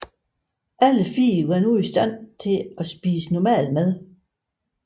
Alle fire var nu i stand til at spise normal mad